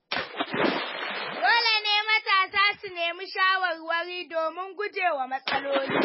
Dole ne matasa su nemi shawarwari domin gujewa matsaloli.